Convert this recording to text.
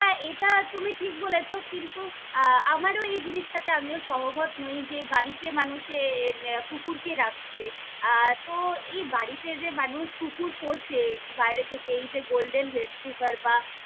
এটা তুমি ঠিক বলেছ কিন্তু আহ আমারও এই জিনিস টাতে আমিও সহমত নই যে বাড়িতে মানুষে কুকুর কে রাখছে আহ তো এই বাড়িতে যে মানুষ কুকুর পোষে বাইরে থেকে এই যে golden retriever বা।